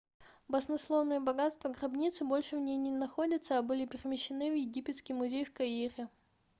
баснословные богатства гробницы больше в ней не находятся а были перемещены в египетский музей в каире